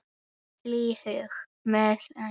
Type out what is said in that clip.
Með hlýhug.